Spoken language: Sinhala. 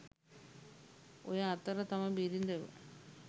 ඔය අතර තම බිරිඳව